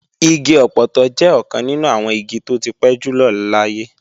Igi ọpọtọ jẹ́ ọ̀kan nínú àwọn igi tó ti pẹ́ jùlọ láyé